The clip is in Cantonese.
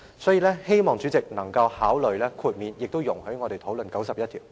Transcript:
所以，希望主席能夠考慮豁免執行有關規定，亦容許我們討論第91條。